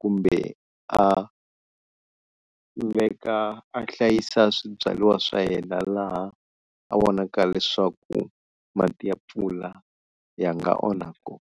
kumbe a veka a hlayisa swibyariwa swa yena laha a vonaka leswaku mati ya mpfula ya nga onha koho.